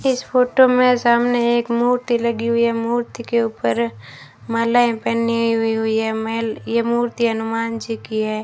इस फोटो में सामने एक मूर्ति लगी हुई है मूर्ति के ऊपर मालाएं पहनी हुई हुई है महेल ये मूर्ति हनुमान जी की है।